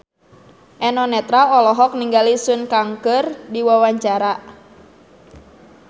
Eno Netral olohok ningali Sun Kang keur diwawancara